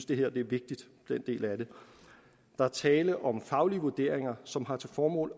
del af det er vigtig der er tale om faglige vurderinger som har til formål